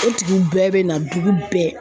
O tigiw bɛɛ bɛ na dugu bɛɛ.